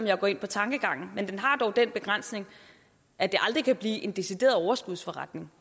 jeg går ind på tankegangen men den har dog den begrænsning at det aldrig kan blive en decideret overskudsforretning